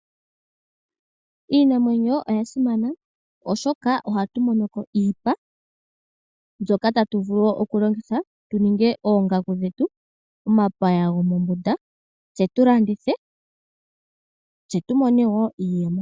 Iinamwenyo oya simana oshoka ohatu mono ko iipa. Mbyoka tatu vulu wo okulongitha tuninge oongaku dhetu, omapaya gomoombunda tse tu landithe tse tu mone wo iiyemo.